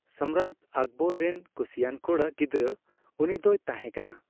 ᱥᱚᱢᱨᱟᱴ ᱟᱠᱵᱚᱨ ᱨᱮᱱ ᱠᱩᱥᱤᱭᱟᱱ ᱠᱚᱲᱟ ᱜᱤᱫᱽᱨᱟᱹ ᱩᱱᱤᱫᱚᱭ ᱛᱟᱦᱮᱸ ᱠᱟᱱᱟ ᱾